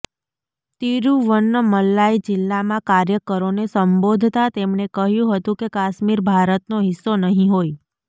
તિરુવન્નમલાઈ જિલ્લામાં કાર્યકરોને સંબોધતા તેમણે કહ્યું હતું કે કાશ્મીર ભારતનો હિસ્સો નહીં હોય